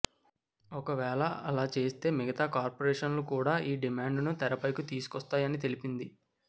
ఒకవేళ అలా చేస్తే మిగతా కార్పొరేషన్లు కూడా ఈ డిమాండ్ను తెరపైకి తీసుకొస్తాయని తెలిపింది